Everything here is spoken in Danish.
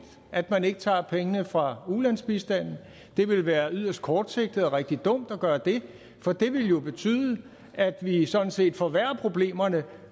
at man ikke tager pengene fra ulandsbistanden det ville være yderst kortsigtet og rigtig dumt at gøre det for det ville betyde at vi vi sådan set forværrede problemerne